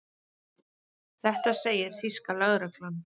Þetta segir þýska lögreglan